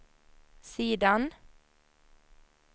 sidan